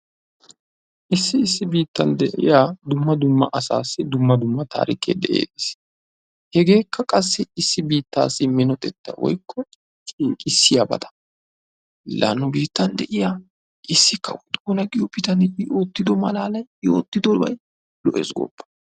Issi issi biittawu de'iya dumma dumma asaassi dumma dumma taarikee de'ees. Hegeekka qassi issi biittawu minotetta. laa nu biittan de'iya issi kawo xoona giyo kawoy i ootidobay keehi malatees gooppa.